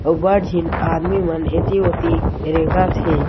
अउ बड झीन आदमी मन एथी ओथी रेंगत हे।